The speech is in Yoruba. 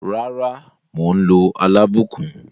Rara, mo n lo alabukun.